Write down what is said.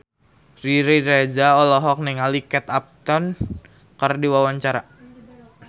Riri Reza olohok ningali Kate Upton keur diwawancara